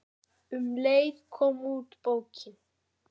Um leið kom út bókin